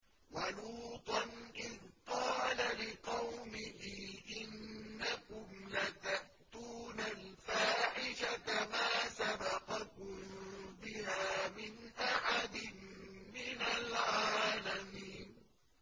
وَلُوطًا إِذْ قَالَ لِقَوْمِهِ إِنَّكُمْ لَتَأْتُونَ الْفَاحِشَةَ مَا سَبَقَكُم بِهَا مِنْ أَحَدٍ مِّنَ الْعَالَمِينَ